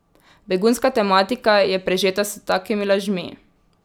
Begunska tematika je prežeta s takimi lažmi.